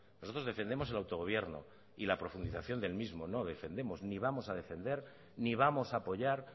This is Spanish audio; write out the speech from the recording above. nosotros defendemos el autogobierno y la profundización del mismo no defendemos ni vamos a defender ni vamos a apoyar